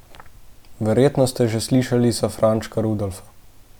Verjetno ste že slišali za Frančka Rudolfa.